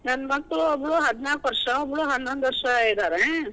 ನನ್ ಮಕ್ಳು ಒಬ್ಳು ಹದಿನಾಕ್ ವರ್ಷ, ಒಬ್ಳು ಹನ್ನೊಂದು ವರ್ಷ ಇದಾರೆ.